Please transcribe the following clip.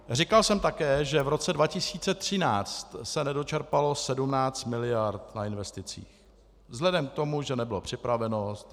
Říkal jsem také, že v roce 2013 se nedočerpalo 17 mld. na investicích vzhledem k tomu, že nebyla připravenost.